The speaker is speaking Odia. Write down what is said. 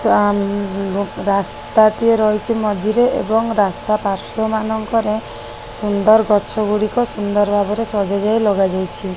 ତା ଉ ଉ ରାସ୍ତା ଟିଏ ରହିଛି। ମଝିରେ ଏବଂ ରାସ୍ତା ପାର୍ଶ୍ୱ ମାନଙ୍କରେ ସୁନ୍ଦର ଗଛ ଗୁଡିକ ସୁନ୍ଦର ଭାବରେ ସଜା ଯାଇ ଲଗାଯାଇଛି।